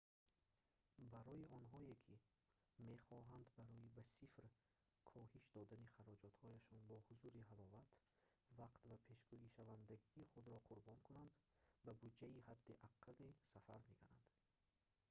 барои онҳое ки мехоҳанд барои ба сифр коҳиш додани хароҷотҳояшон бо ҳузуру ҳаловат вақт ва пешгӯишавандагии худро қурбон кунанд ба буҷаи ҳадди аққали сафар нигаранд